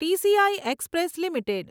TCI express limited